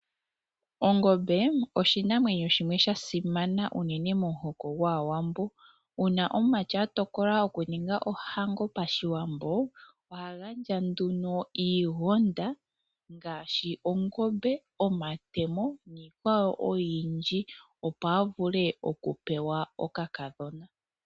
Ongombe oshinamwenyo shimwe sha simana unene momuhoko gwAawambo. Uuna omumati a tokola okuninga ohango Pashiwambo, oha gandja nduno iigonda ngaashi ongombe, omatemo niikwawo oyindji, opo a vule okupewa okakadhona.